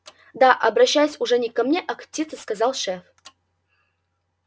да обращаясь уже не ко мне а к птице сказал шеф